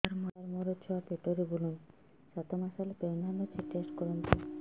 ସାର ମୋର ଛୁଆ ପେଟରେ ବୁଲୁନି ସାତ ମାସ ପ୍ରେଗନାଂଟ ଅଛି ଟେଷ୍ଟ କରନ୍ତୁ